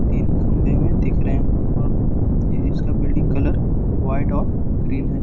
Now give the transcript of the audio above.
तीन खंभे दिख रहे हैं और इसका बिल्डिंग कलर व्हाइट और ग्रीन है।